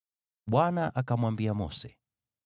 Bwana akamwambia Mose,